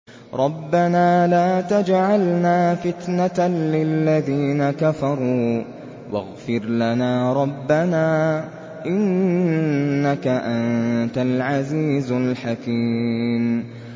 رَبَّنَا لَا تَجْعَلْنَا فِتْنَةً لِّلَّذِينَ كَفَرُوا وَاغْفِرْ لَنَا رَبَّنَا ۖ إِنَّكَ أَنتَ الْعَزِيزُ الْحَكِيمُ